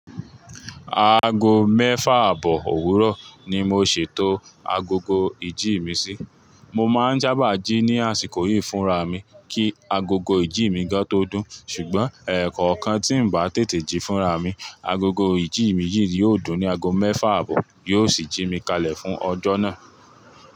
Aago mẹ́fà àbọ̀ òwúrọ̀ ni mo ṣètò agogo ìjí mi sí. Mo máa ń já báàjì ní àsìkò yìí fúnra mi kí agogo ìjí mi gán tó dún, ṣùgbọ́n ẹ̀ẹ̀kọ̀kan tí ń bá tètè jí fúnra mi, agogo ìjí mi yìí yóò dún ní aago mẹ́fà àbọ̀, yóò sì jí mi kalẹ̀ fún ọjọ́ náà.